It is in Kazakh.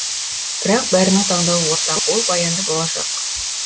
бірақ бәрінің таңдауы ортақ ол баянды болашақ